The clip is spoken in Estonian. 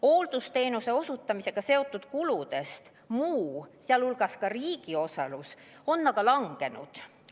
Hooldusteenuse osutamisega seotud kuludest muu, sh ka riigi osalus, on aga langenud.